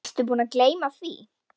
Varstu búinn að gleyma því?